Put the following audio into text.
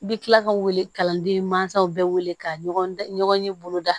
I bɛ tila ka wele kalanden mansaw bɛɛ wele k'a ɲɔgɔn ye boloda